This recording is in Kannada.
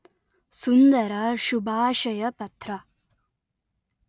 ಸುಂದರ ಶುಭಾಶಯ ಪತ್ರ